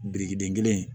Birikiden kelen